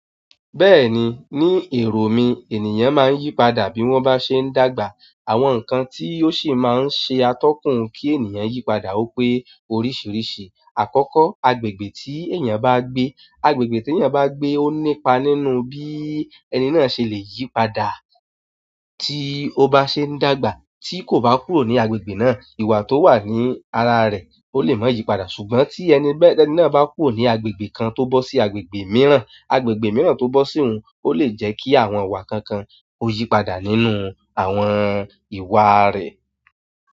Bẹ́ẹ̀ni, ní èrò mi ènìyàn máa ń yípadà bí wọ́n bá ṣe ń dàgbà. Àwọn nǹkan tí ó sì máa ń ṣe atọ́kùn kí ènìyàn yípadà ó pé oríṣiríṣi. Àkọ́kọ́, agbègbè tí ènìyàn bá gbé, agbègbè tí ènìyàn bá gbé ó nípa nínú bí ẹni náà ṣe lè yípadà tí ó bá ṣe ń dàgbà tí kò bá kúrò ní agbègbè náà. Ìwà tó wà ní ara rẹ̀ ó lè má yípadà. Ṣùgbọ́n tí ẹni náà bá kúrò ní agbègbè kan tó bọ́ sí agbègbè mìíràn, agbègbè mìíràn tó bọ́ sí òun ó lè jẹ́ kí àwọn ìwà kan kan ó yípadà nínú àwọn ìwà rẹ̀.